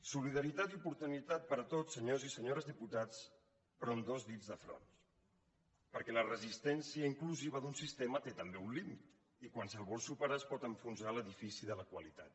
solidaritat i oportunitat per a tots senyors i senyores diputats però amb dos dits de front perquè la resistència inclusiva d’un sistema té també un límit i quan se’l vol superar es pot enfonsar l’edifici de la qualitat